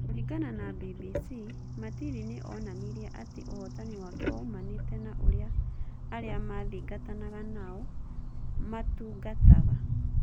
Kũringana na BBC, Matindi nĩ onanirie atĩ ũhotani wake woimanĩte na ũrĩa arĩa maathingatanaga nao matungataga.